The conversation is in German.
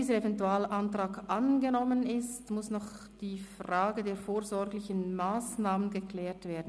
Da dieser Eventualantrag nun angenommen ist, muss noch die Frage der vorsorglichen Massnahmen geklärt werden: